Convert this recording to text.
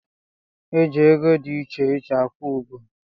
E ji ego di icheiche akwụ ụgọ